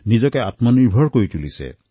নিজকে আত্মনিৰ্ভৰশীল কৰিছে